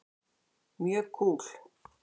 Mjög kúl.